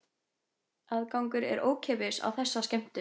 Aðgangur er ókeypis á þessa skemmtun